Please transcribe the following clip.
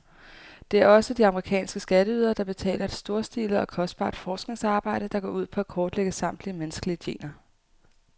Det er også de amerikanske skatteydere, der betaler et storstilet og kostbart forskningsarbejde, der går ud på at kortlægge samtlige menneskelige gener.